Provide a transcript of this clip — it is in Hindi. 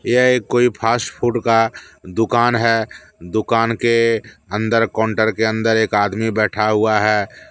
यह एक कोई फास्ट फूड का दुकान है दुकान के अंदर काउंटर के अंदर एक आदमी बैठा हुआ है।